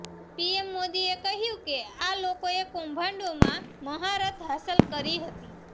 PM મોદીએ કહ્યું કે આ લોકોએ કૌભાંડોમાં મહારથ હાંસલ કરી હતી